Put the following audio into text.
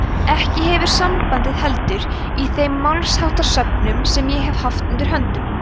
ekki hefur sambandið heldur í þeim málsháttasöfnum sem ég hef haft undir höndum